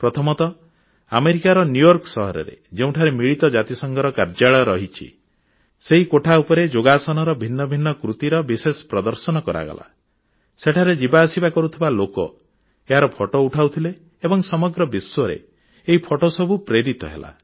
ପ୍ରଥମତଃ ଆମେରିକାର ନ୍ୟୁୟର୍କ ସହରରେ ଯେଉଁଠାରେ ମିଳିତ ଜାତିସଂଘର କାର୍ଯ୍ୟାଳୟ ରହିଛି ସେହି କୋଠା ଉପରେ ଯୋଗାସନର ଭିନ୍ନ ଭିନ୍ନ କୃତିର ବିଶେଷ ପ୍ରଦର୍ଶନ କରାଗଲା ସେଠାରେ ଯିବା ଆସିବା କରୁଥିବା ଲୋକ ଏହାର ଫଟୋ ଉଠାଉଥିଲେ ଏବଂ ସମଗ୍ର ବିଶ୍ୱରେ ଏହି ଫଟୋ ସବୁ ପ୍ରେରିତ ହେଲା